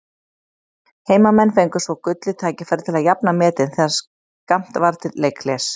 Heimamenn fengu svo gullið tækifæri til að jafna metin þegar skammt var til leikhlés.